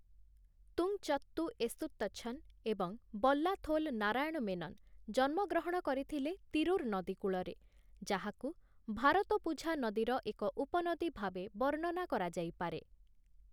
ତୁଂଚତ୍ତୁ ଏଷୁତ୍ତଛନ ଏବଂ ବଲ୍ଲାଥୋଲ ନାରାୟଣ ମେନନ ଜନ୍ମ ଗ୍ରହଣ କରିଥିଲେ ତିରୁର୍ ନଦୀ କୂଳରେ, ଯାହାକୁ ଭାରତପୁଝା ନଦୀର ଏକ ଉପନଦୀ ଭାବେ ବର୍ଣ୍ଣନା କରାଯାଇପାରେ ।